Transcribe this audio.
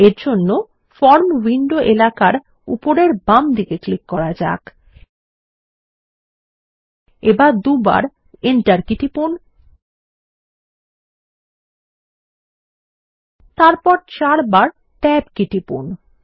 এর জন্য form window এলাকার উপরের বামদিকে ক্লিক করা যাক এবার দুবার Enter কি টিপুন তারপর চার বার ট্যাব কী টিপুন